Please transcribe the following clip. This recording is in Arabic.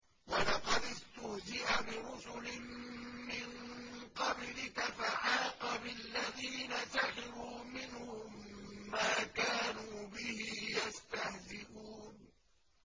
وَلَقَدِ اسْتُهْزِئَ بِرُسُلٍ مِّن قَبْلِكَ فَحَاقَ بِالَّذِينَ سَخِرُوا مِنْهُم مَّا كَانُوا بِهِ يَسْتَهْزِئُونَ